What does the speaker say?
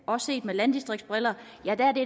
også set med landdistriktsbriller